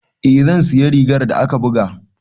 Eh zan siya rigar da aka buga.